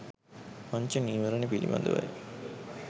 පංච නීවරණ පිළිබඳවයි